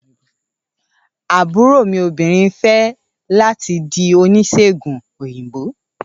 Àbúrò mi obìnrin ń fẹ́ láti di oníṣègùn òyìnbó.